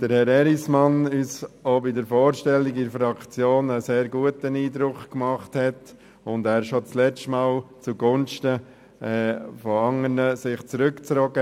Herr Erismann hat uns bei der Vorstellung in der Fraktion einen sehr guten Eindruck gemacht, und er hat sich schon das letzte Mal zugunsten von anderen zurückgezogen.